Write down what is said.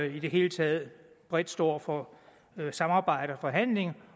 i det hele taget bredt står for samarbejde og forhandling